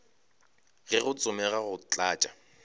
ge go tsomega go tlatša